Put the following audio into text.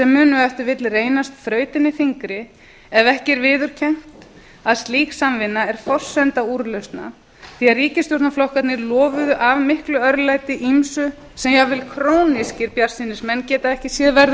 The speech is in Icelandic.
ef til vill reynast þrautin þyngri ef ekki er viðurkennt að sig samvinna er forsenda úrlausna því ríkisstjórnarflokkarnir lofuðu af miklu örlæti ýmsu sem jafnvel krónískir bjartsýnismenn geta ekki séð verða að